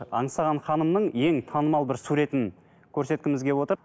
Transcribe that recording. аңсаған ханымның ең танымал бір суретін көрсеткіміз келіп отыр